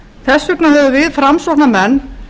þess vegna höfum við framsóknarmenn